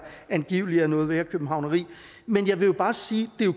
angiveligt var noget værre københavneri men jeg vil bare sige